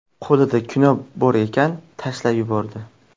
Qo‘lida kino bor ekan, tashlab yubordi.